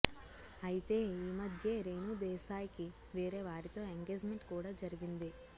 అయితే ఈమధ్యే రేణు దేశాయ్ కి వేరే వారితో ఎంగేజ్ మెంట్ కూడా జరిగింది